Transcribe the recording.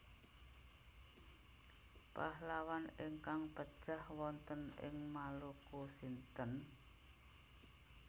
Pahlawan ingkang pejah wonten ing Maluku sinten?